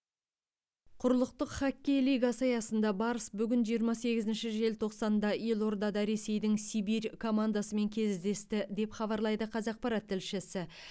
құрлықтық хоккей лигасы аясында барыс бүгін жиырма сегізінші желтоқсанда елордада ресейдің сибирь командасымен кездесті деп хабарлайды қазақпарат тілшісі